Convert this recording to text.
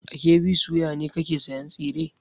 A KB soya ne kake sayan tsire?